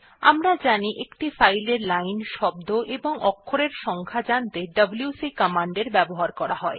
আমরা জানি যে একটি ফাইলের লাইন শব্দ এবং অক্ষরের সংখ্যা জানতে ডব্লিউসি কমান্ডের ব্যবহার করা হয়